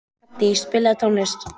Addý, spilaðu tónlist.